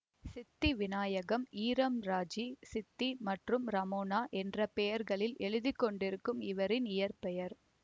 சித்தி வினாயகம் ஈழம்ராஜி சித்தி மற்றும் ரமோனா என்ற பெயர்களில் எழுதி கொண்டிருக்கும் இவரின் இயற்பெயர்